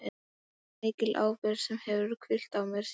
Þetta er mikil ábyrgð sem hefur hvílt á mér síðan.